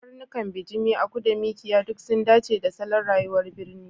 Karnukan bijimi, aku da Mikiya duk sun dace da salon rayuwar birni.